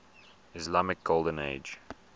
islamic golden age